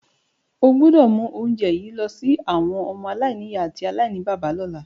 O gbọ́dọ̀ mu ounje yi lọ si àwọn ọmọ-aláìnìyá àti aláìníbàbá lọ́la.